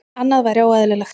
Annað væri óeðlilegt.